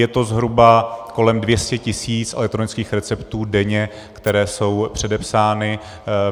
Je to zhruba kolem 200 tisíc elektronických receptů denně, které jsou předepsány.